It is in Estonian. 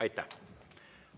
Aitäh!